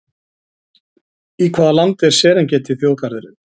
Í hvaða landi er Serengeti þjóðgarðurinn?